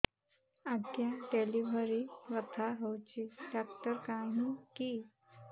ଆଜ୍ଞା ଡେଲିଭରି ବଥା ହଉଚି ଡାକ୍ତର କାହିଁ କି